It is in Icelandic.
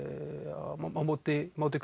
á móti móti